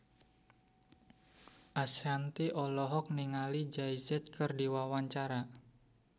Ashanti olohok ningali Jay Z keur diwawancara